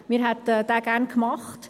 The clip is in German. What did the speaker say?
Wir hätten ihn gerne gemacht.